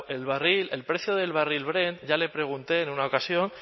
el barril el precio del barril brent ya le pregunté en una ocasión